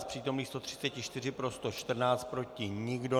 Z přítomných 134 pro 114, proti nikdo.